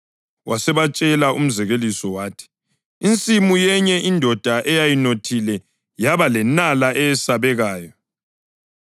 Wasebatshela umzekeliso wathi, “Insimu yenye indoda eyayinothile yaba lenala eyesabekayo.